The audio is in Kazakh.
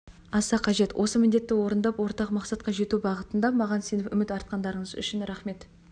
аса қажет осы міндетті орындап ортақ мақсатқа жету бағытында маған сеніп үміт артқандарыңыз үшін рахмет